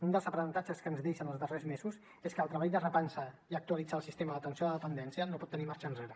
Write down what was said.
un dels aprenentatges que ens deixen els darrers mesos és que el treball de repensar i actualitzar el sistema d’atenció a la dependència no pot tenir marxa enrere